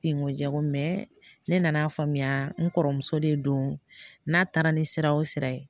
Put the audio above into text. Ten ko jago ne nan'a faamuya n kɔrɔmuso de don n'a taara ni sira o sira ye